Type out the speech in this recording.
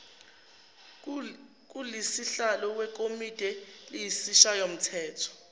kusihlalo wekomidi lesishayamthetho